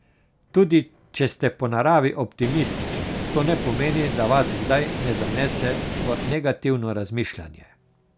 Tudi če ste po naravi optimistični, to ne pomeni, da vas kdaj ne zanese v negativno razmišljanje.